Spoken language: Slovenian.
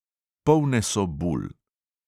Polne so bul.